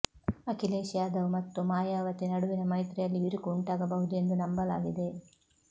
ಅಖಿಲೇಶ್ ಯಾದವ್ ಮತ್ತು ಮಾಯಾವತಿ ನಡುವಿನ ಮೈತ್ರಿಯಲ್ಲಿ ಬಿರುಕು ಉಂಟಾಗಬಹುದು ಎಂದು ನಂಬಲಾಗಿದೆ